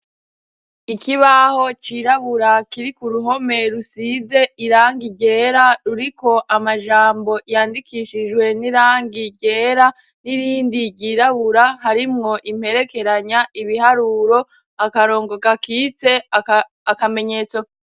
Ikibaho cirabura kiri ku ruhome rusize irangi ryera ruriko amajambo yandikishijwe n'irangi ryera n'irindi ryirabura harimwo imperekeranya ibiharuro akarongo gakitse akamenyetso.